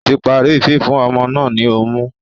Ó tí parí fífún ọmọ náà ní ọmú